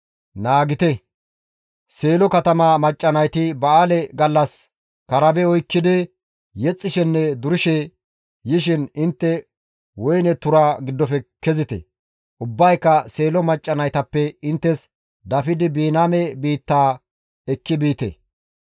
Naagite! Seelo katama macca nayti ba7aale gallas karabe oykkidi yexxishenne durishe yishin intte woyne tura giddofe kezite. Ubbayka Seelo macca naytappe inttes dafidi Biniyaame biitta ekki biite.